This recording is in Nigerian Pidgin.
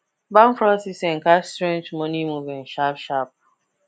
bank fraud system catch strange money movement sharp sharp